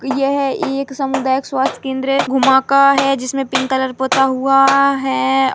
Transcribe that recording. यह एक समुदायक स्वास्थ्य केंद्र है घुमाका है जिसमें पिंक कलर पोता हुआ है।